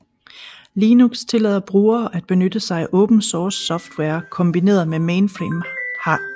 Linux tillader brugere at benytte sig af open source software kombineret med mainframe hardware RAS